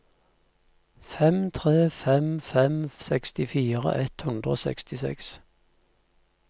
fem tre fem fem sekstifire ett hundre og sekstiseks